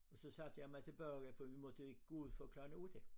Så satte jeg mig tilbage ja for vi måtte jo ikke gå ud før klokken 8